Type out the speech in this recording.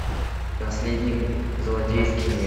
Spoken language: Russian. наследник злодейский мир